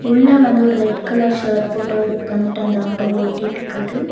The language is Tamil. உள்ள வந்து ஒரு ரெட் கலர் ஷர்ட் போட்டவர் உக்காந்துட்டு அந்த ஆட்டோவ ஓட்டிட்டுருக்காரு.